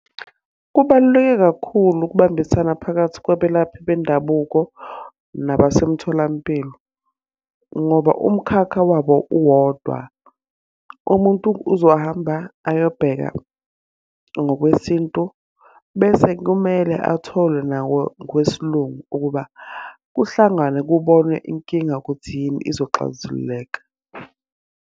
Kubaluleke kakhulu ukubambisana phakathi kwabelaphi bendabuko nabasemtholampilo. Ngoba umkhakha wabo uwodwa. Umuntu uzohamba ayobheka ngokwesintu, bese kumele athole nawo kwesilungu ukuba, kuhlanganwe kubonwe inkinga ukuthi yini izoxazululeka.